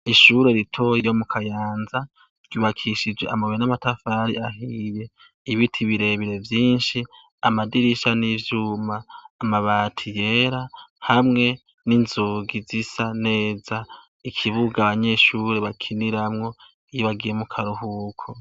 Ishure ritoya ryo mu Kayanza, ryubakishije amabuye n’amatafari ahiye, ibiti birebire vyinshi, amadirisha n’ivyuma, amabati yera hamwe n’inzugi zisa neza, ikibuga abanyeshure bakiniramwo iyo bagiye mukaruhuko.